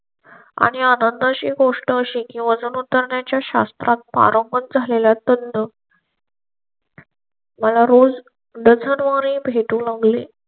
आणि आनंदा ची गोष्ट अशी की वजन उतरण्याच्या शास्त्रात पारंगात झ्हालेले मला रोज रचणारे भेटू लागले.